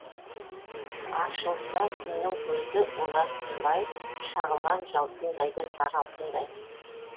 ашылса күннің көзі олар тынбай шағылған жалтылдайды сары алтындай